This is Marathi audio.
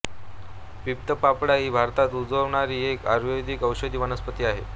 पित्तपापडा ही भारतात उगवणारी एक आयुर्वेदीक औषधी वनस्पती आहे